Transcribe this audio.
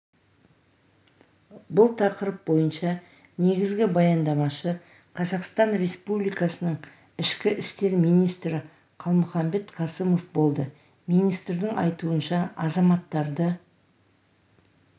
бұл тақырып бойынша негізгі баяндамашы қазақстан республикасының ішкі істер министрі қалмұханбет қасымов болды министрдің айтуынша азаматтарды